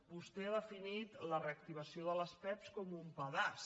vostè ha definit la reactivació de les pevs com un pedaç